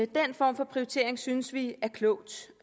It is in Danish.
den form for prioritering synes vi er klogt